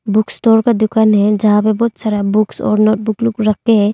Book store का दुकान हैं जहां पे बहुत सारा बुक्स और नोटबुक रखे हैं।